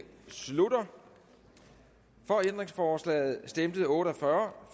slutter for ændringsforslaget stemte otte og fyrre